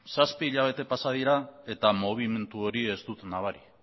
zazpi hilabete pasa dira eta mugimendu hori ez dut nabari